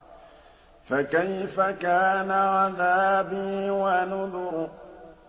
فَكَيْفَ كَانَ عَذَابِي وَنُذُرِ